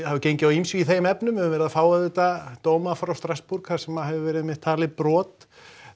gengið á ýmsu í þeim efnum við höfum verið að fá auðvitað dóma frá Strasbourg þar sem hefur einmitt verið talið brot